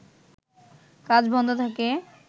কাজ বন্ধ থাকে